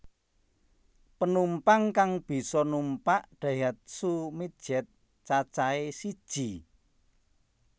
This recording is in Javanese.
Penumpang kang bisa numpak Daihatsu Midget cacahé siji